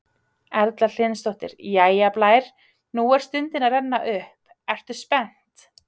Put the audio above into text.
Erla Hlynsdóttir: Jæja Blær, nú er stundin að renna upp, ertu spennt?